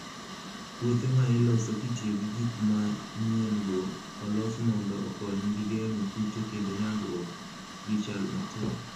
Puothe ma iloso kitiyo gi gik manyien-go olos mondo okonygi geng'o kute kendo nyagruok gi chal matek.